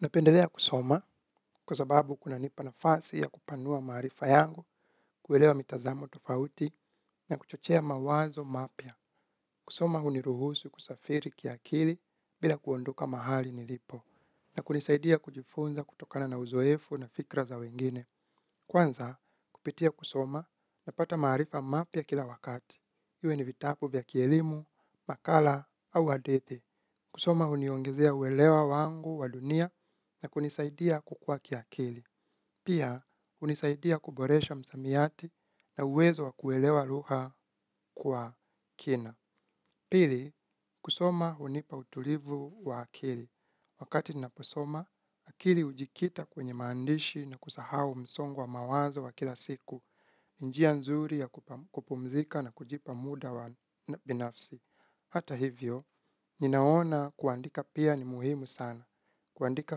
Napendelea kusoma kwa sababu kunanipa nafasi ya kupanua maarifa yangu kuelewa mitazamo tofauti na kuchochea mawazo mapya. Kusoma huniruhusu kusafiri kiakili bila kuondoka mahali nilipo na kunisaidia kujifunza kutokana na uzoefu na fikra za wengine. Kwanza kupitia kusoma napata maarifa mapya kila wakati. Iwe ni vitabu vya kielimu, makala au hadithi. Kusoma huniongezea uelewa wangu wa dunia na kunisaidia kukuwa kiakili. Pia hunisaidia kuboresha msamiati na uwezo wa kuelewa lugha kwa kina. Pili, kusoma hunipa utulivu wa akili. Wakati ninaposoma, akili hujikita kwenye maandishi na kusahau msongo wa mawazo wa kila siku. Njia nzuri ya kupumzika na kujipa muda wa binafsi. Hata hivyo, ninaona kuandika pia ni muhimu sana. Kuandika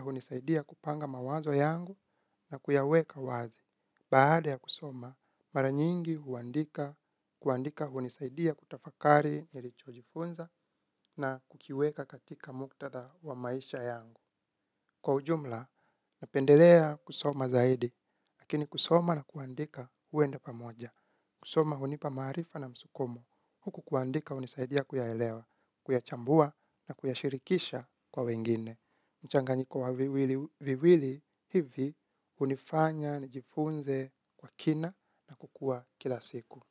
hunisaidia kupanga mawazo yangu na kuyaweka wazi. Baada ya kusoma, mara nyingi kuandika hunisaidia kutafakari nilichojifunza na kukiweka katika muktadha wa maisha yangu. Kwa ujumla, napendelea kusoma zaidi, lakini kusoma na kuandika huenda pamoja. Kusoma hunipa maarifa na msukumo huku kuandika hunisaidia kuyaelewa, kuyachambua na kuyashirikisha kwa wengine. Mchanganyiko wa viwili hivi hunifanya nijifunze kwa kina na kukuwa kila siku.